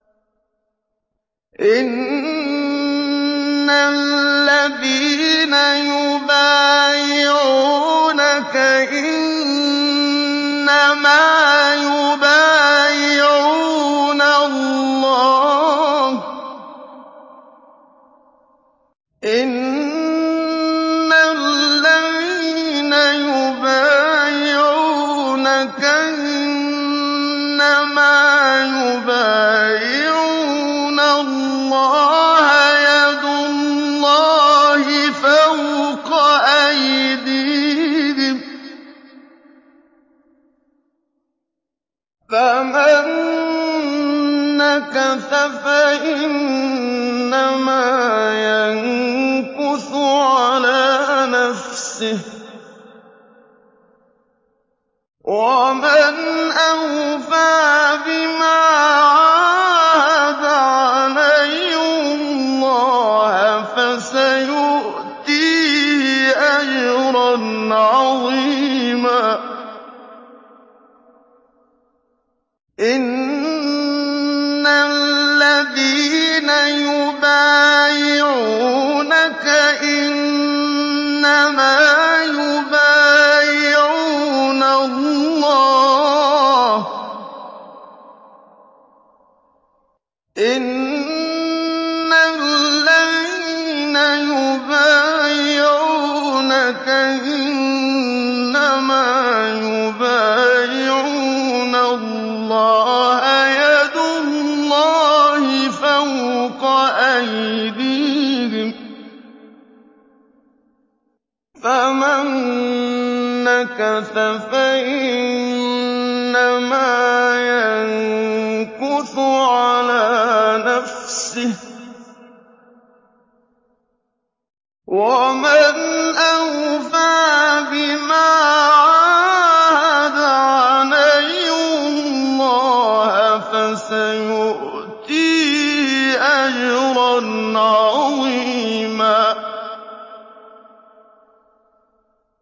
إِنَّ الَّذِينَ يُبَايِعُونَكَ إِنَّمَا يُبَايِعُونَ اللَّهَ يَدُ اللَّهِ فَوْقَ أَيْدِيهِمْ ۚ فَمَن نَّكَثَ فَإِنَّمَا يَنكُثُ عَلَىٰ نَفْسِهِ ۖ وَمَنْ أَوْفَىٰ بِمَا عَاهَدَ عَلَيْهُ اللَّهَ فَسَيُؤْتِيهِ أَجْرًا عَظِيمًا